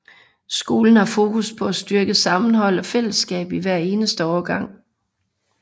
Skolen har fokus på at styrke sammenhold og fællesskab i hver eneste årgang